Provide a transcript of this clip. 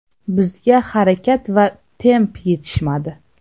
Bizga harakat va temp yetishmadi.